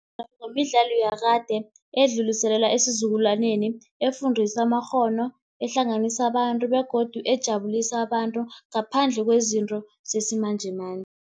imidlalo yakade, edluliselelwa esizukulwaneni efundisa amakghono, ehlanganisa abantu begodu ejabulisa abantu ngaphandle kwezinto zesimanjemanje.